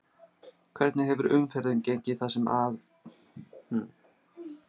Hvernig hefur umferðin gengið það sem að af er dags?